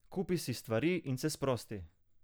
Kupi si stvari in se sprosti.